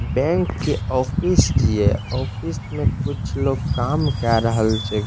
Bank के office छीये office में कुछ लोग काम केए रहल छै।